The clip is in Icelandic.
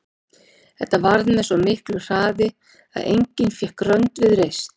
Þetta varð með svo miklu hraði að enginn fékk rönd við reist.